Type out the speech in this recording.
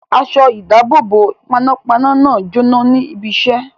Aṣọ-ìdáàbòbò panápaná náà jóná ní ibiṣẹ́.